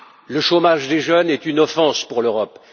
Le chômage des jeunes est une offense pour l'Europe.